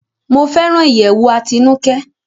Mo fẹràn iyẹwù Atinuke